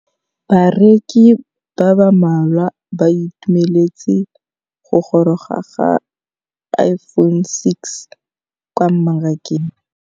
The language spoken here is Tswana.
Bareki ba ba malwa ba ituemeletse go gôrôga ga Iphone6 kwa mmarakeng.